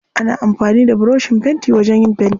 Ana amfani da burushin fenti wajen yin fenti.